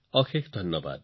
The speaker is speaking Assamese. অশেষ ধন্যবাদ